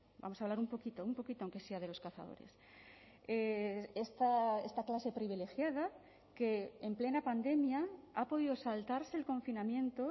vamos a hablar un poquito un poquito aunque sea de los cazadores esta clase privilegiada que en plena pandemia ha podido saltarse el confinamiento